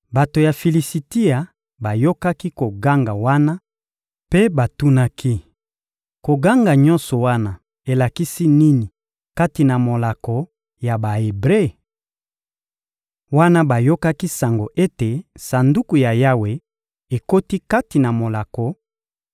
Bato ya Filisitia bayokaki koganga wana mpe batunaki: — Koganga nyonso wana elakisi nini kati na molako ya Ba-Ebre? Wana bayokaki sango ete Sanduku ya Yawe ekoti kati na molako,